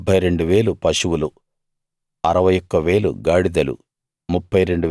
72000 పశువులు 61000 గాడిదలు